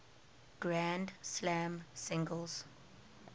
grand slam singles